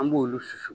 An b'olu susu